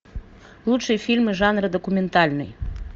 лучшие фильмы жанра документальный